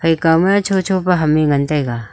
ekama chocho pa ham e ngan taiga.